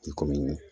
I komi